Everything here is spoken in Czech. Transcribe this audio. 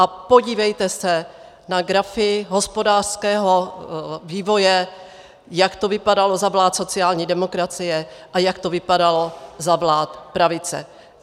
A podívejte se na grafy hospodářského vývoje, jak to vypadalo za vlád sociální demokracie a jak to vypadalo za vlád pravice.